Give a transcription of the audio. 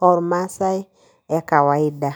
ormaasai ekawaida.